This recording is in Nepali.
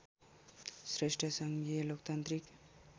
श्रेष्ठ सङ्घीय लोकतान्त्रिक